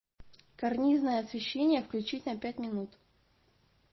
карнизное освещение включить на пять минут